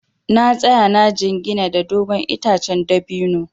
Na tsaya na jingina da dogon itacen dabino.